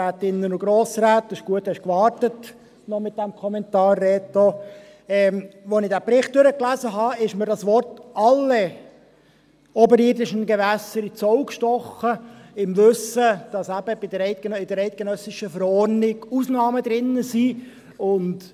Als ich den Bericht durchgelesen habe, sind mir die Worte «alle oberirdischen Gewässer» ins Auge gestochen, im Wissen darum, dass die eidgenössische Verordnung Ausnahmen enthält.